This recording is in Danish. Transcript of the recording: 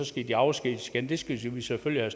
skal de afskediges igen det skal vi selvfølgelig